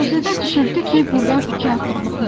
Şossedə düşürdü ki, burdan iki addımlıq yoldur.